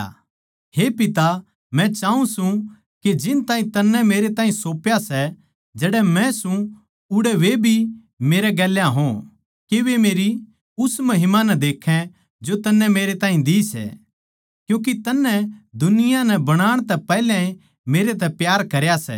हे पिता मै चाऊँ सूं के जिन ताहीं तन्नै मेरैताहीं सौप्या सै जड़ै मै सूं उड़ै वे भी मेरै गेल्या हो के वे मेरी उस महिमा नै देक्खै जो तन्नै मेरैताहीं दी सै क्यूँके तन्नै दुनिया नै बनाण तै पैहल्या मेरतै प्यार करया सै